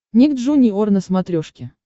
ник джуниор на смотрешке